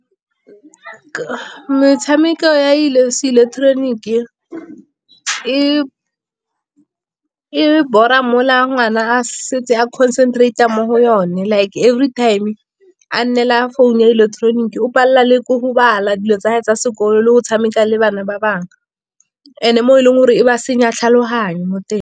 Metshameko ya seileketoroniki e bora mola ngwana a setse a concentrate-a mo go yone. Like everytime a nnela phone ya ileketeroniki o palelwa le ko go bala, dilo tsa gagwe tsa sekolo. Le go tshameka le bana ba bangwe, and-e mo e leng gore e ba senya tlhaloganyo mo teng.